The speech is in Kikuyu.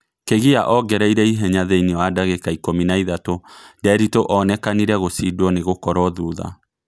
Kĩgia ongereire ĩhenya thĩine wa ndagika ikũmi na ithatũ Nderitu onekanire gucindwo nigũkorwo thutha